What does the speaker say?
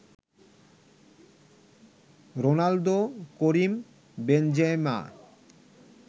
Ronaldo, Karim Benzema